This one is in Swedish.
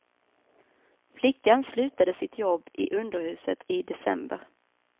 Flickan slutade sitt jobb i underhuset i december.